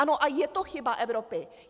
Ano, a je to chyba Evropy.